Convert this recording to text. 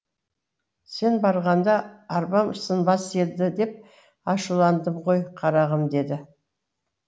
сен барғанда арбам сынбас еді деп ашуландым ғой қарағым деді